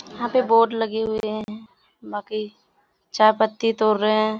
यहाँ पे बहुत लगे हुए हैं बाकि चायपत्ती तोड़ रहें हैं।